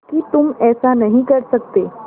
कि तुम ऐसा नहीं कर सकते